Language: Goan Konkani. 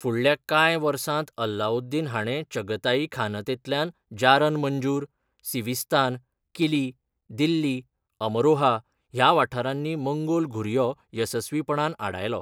फुडल्या कांय वर्सांत अलाउद्दीन हाणें चगताईखानतेंतल्यान, जारन मंजूर, सिविस्तान, किली, दिल्ली, अमरोहा ह्या वाठारांनी मंगोल घुरयो येसस्वीपणान आडायलो.